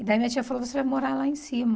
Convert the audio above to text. E daí minha tia falou, você vai morar lá em cima.